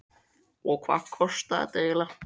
Karen: Og hvað kostaði þetta eiginlega?